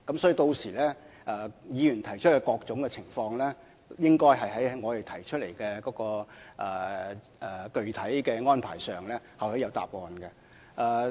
所以，議員提出關注的各種情況，屆時應該會在我們提出的具體安排中得到答案。